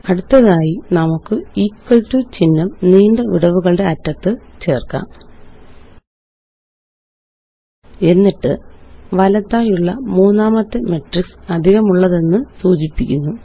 അടുത്തതായി നമുക്ക് equal to ചിഹ്നം നീണ്ട വിടവുകളുടെ അറ്റത്ത് ചേര്ക്കാം എന്നിട്ട് വലത്തായുള്ള മൂന്നാമത്തെ മെട്രിക്സ് അധികമുള്ളതെന്ന് സൂചിപ്പിക്കുന്ന